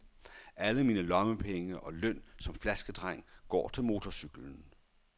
Alle mine lommepenge og løn som flaskedreng går til motorcyklen.